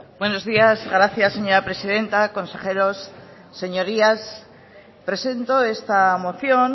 buenos días gracias señora presidenta consejeros señorías presento esta moción